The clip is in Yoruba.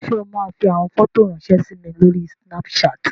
Ṣé o máa fi àwọn fọ́tò ráńṣẹ́ sí mi lórí Snapchat?